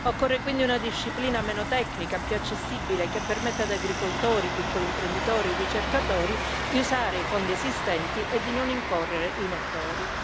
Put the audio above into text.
Occorre quindi una disciplina meno tecnica, più accessibile che permetta ad agricoltori, piccoli imprenditori e ricercatori di usare i fondi esistenti e di non incorrere in errori.